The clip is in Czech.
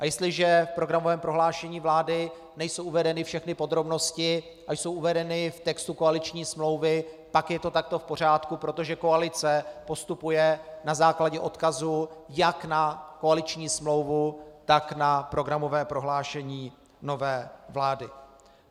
A jestliže v programovém prohlášení vlády nejsou uvedeny všechny podrobnosti a jsou uvedeny v textu koaliční smlouvy, pak je to takto v pořádku, protože koalice postupuje na základě odkazu jak na koaliční smlouvu, tak na programové prohlášení nové vlády.